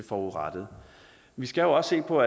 forurettede vi skal jo også se på